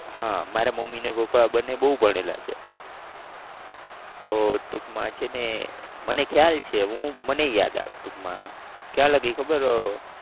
હા મારા મમ્મી ને પપ્પા બંને બહુ ભણેલા છે તો ટુંકમાં છે ને મને ખ્યાલ છે હું મને યાદ આવે ટુંકમાં કયા લગી ખબર મારા